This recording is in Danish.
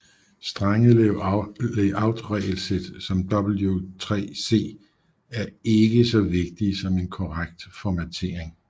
Strenge Layoutregelsæt som W3C er ikke så vigtige som en korrekt formattering